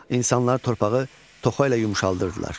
İnsanlar torpağı toxa ilə yumşaldırdılar.